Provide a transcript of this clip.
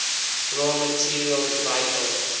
raw materials vital